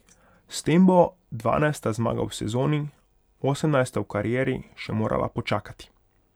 S tem bo dvanajsta zmaga v sezoni, osemnajsta v karieri, še morala počakati.